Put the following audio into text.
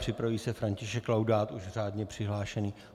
Připraví se František Laudát, už řádně přihlášený.